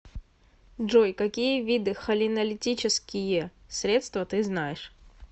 джой какие виды холинолитические средства ты знаешь